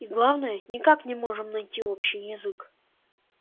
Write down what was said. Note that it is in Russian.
и главное никак не можем найти общий язык